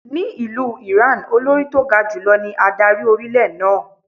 Ni ìlú Ìráǹ, Olórí tó ga jù lọ ní adarí orílẹ̀ náà.